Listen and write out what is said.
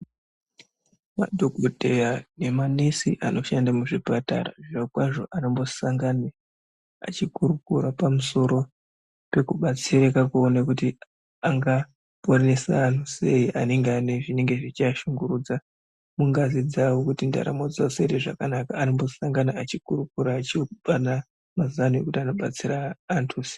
Madhokodheya nemanesi anoshanda muzvipatara zvirokwazvo anombosangane echikurakura pamusoro pekubatsirika kuona kuti angaporesa antu sei anenge anezvinenge zveiashungurudza mungazi dzawo kuti muntaramo dzawo dziite zvakanaka anombosangana echikurukura echipanana mazano ekuti anobatsira antu sei.